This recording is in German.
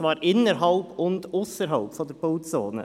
Dies innerhalb und ausserhalb der Bauzone.